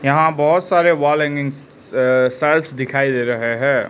यहां बहोत सारे वॉल हैंगिंग स अ शेल्व्स दिखाई दे रहे हैं।